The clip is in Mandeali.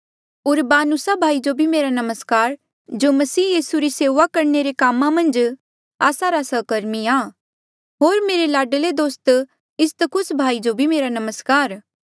उरबानुसा भाई जो भी मेरा नमस्कार जो मसीह यीसू री सेऊआ करणे रे कामा मन्झ आस्सा रा सहकर्मी आ होर मेरे लाडले दोस्त इस्तखुस भाई जो भी मेरा नमस्कार